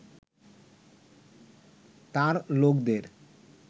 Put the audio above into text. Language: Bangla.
তাঁর লোকদের